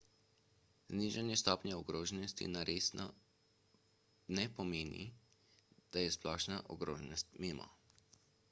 znižanje stopnje ogroženosti na resno ne pomeni da je splošna ogroženost mimo